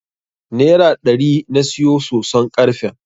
Nera ɗari na siyo soson karfen.